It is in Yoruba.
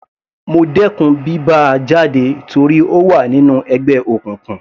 Mo dẹkùn bí bá a jáde torí ó wà nínú ẹgbẹ́ òkùnkùn.